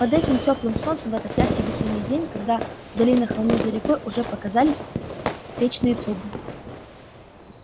под этим тёплым солнцем в этот яркий весенний день когда вдали на холме за рекой уже показались печные трубы